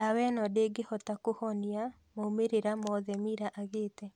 Ndawa ĩno ndĩngĩhota kũhonia moimĩrĩra mothe Mila agĩte.